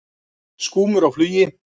Skúmur á flugi.